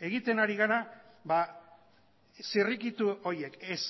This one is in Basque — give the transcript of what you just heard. egiten ari gara zirrikitu horiek ez